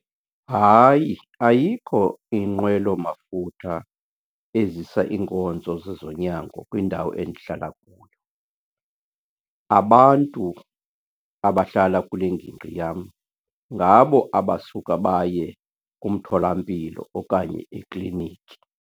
Hayi, ayikho inqwelomafutha ezisa iinkonzo zezonyango kwindawo endihlala kuyo. Abantu abahlala kule ngingqi yam ngabo abasuka baye kumtholampilo okanye ekliniki.